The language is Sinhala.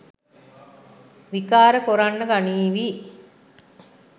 විකාර කොරන්න ගනීවි.